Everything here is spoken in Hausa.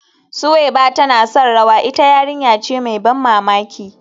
Suweiba tana son rawa, ita yarinya ce mai ban mamaki